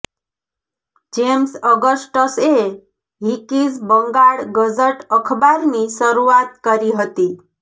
James અગસ્ટસએ Hicky's Bengal Gazette અખબારની શરૂઆત કરી હતી